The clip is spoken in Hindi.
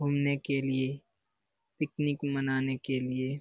घूमने के लिये पिकनिक मनाने के लिए --